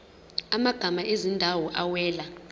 amagama ezindawo awela